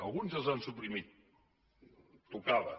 alguns ja els han suprimit tocava